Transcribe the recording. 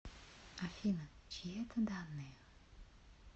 афина чьи это данные